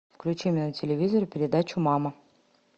включи мне на телевизоре передачу мама